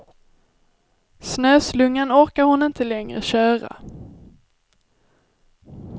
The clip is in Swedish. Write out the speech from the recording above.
Snöslungan orkar hon inte längre köra.